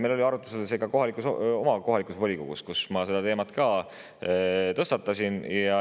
Meil oli see arutusel oma kohalikus volikogus, kus ma selle teema ka tõstatasin.